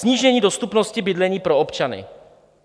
Snížení dostupnosti bydlení pro občany.